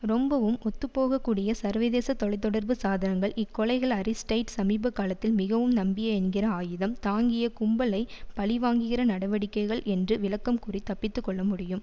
ரொம்பவும் ஒத்துப்போகக்கூடிய சர்வதேச தொலை தொடர்பு சாதனங்கள் இக்கொலைகள் அரிஸ்டைட் சமீப காலத்தில் மிகவும் நம்பிய என்கிற ஆயுதம் தாங்கிய கும்பலை பழி வாங்குகிற நடவடிக்கைகள் என்று விளக்கம் கூறித் தப்பித்து கொள்ள முடியும்